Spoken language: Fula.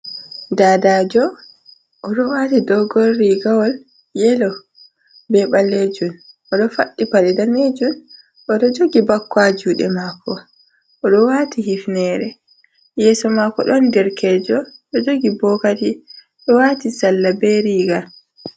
Dadajo oɗo wati dogon rigawol yelo be ɓalejun, oɗo faɗɗi paɗe danejun, oɗo jogi bakko ha juɗe mako, oɗo wati hifnere. Yeeso mako ɗon derkejo ɗo jogi bokati, ɗo wati salla be riga.